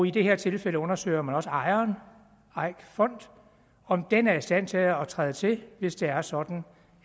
i det her tilfælde undersøger man også ejeren eik fonden om den er i stand til at træde til hvis det er sådan